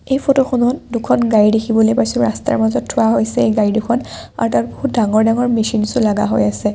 এই ফটো খনত দুখন গাড়ী দেখিবলৈ পাইছোঁ ৰাস্তাত মাজত থোৱা হৈছে এই গাড়ী দুখন আৰু তাত বহুত ডাঙৰ ডাঙৰ মেচিনচ ও লাগা হৈ আছে।